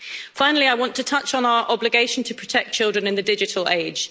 Finally, I want to touch on our obligation to protect children in the digital age.